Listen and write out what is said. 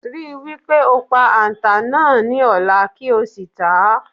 Ri wí pé o pa àǹtà náà ní o̩lá kí ó sì tà á.